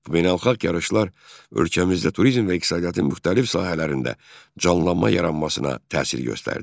Bu beynəlxalq yarışlar ölkəmizdə turizm və iqtisadiyyatın müxtəlif sahələrində canlanma yaranmasına təsir göstərdi.